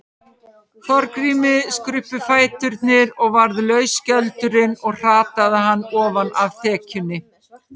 Þorgrími skruppu fæturnir og varð laus skjöldurinn og hrataði hann ofan af þekjunni.